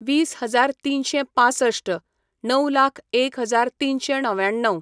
वीस हजार तिनशें पांसश्ट, णव लाख एक हजार तिनशें णव्याण्णव